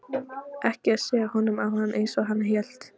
Ekki að siga honum á hann eins og hann hélt.